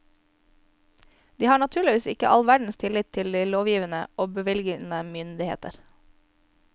De har naturligvis ikke all verdens tillit til de lovgivende og bevilgende myndigheter.